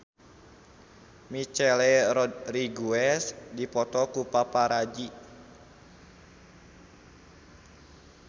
Michelle Rodriguez dipoto ku paparazi